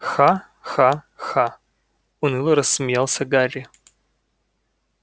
ха-ха-ха уныло рассмеялся гарри